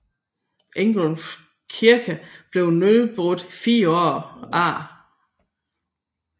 Ilgrof Kirke blev nedbrudt fire år senere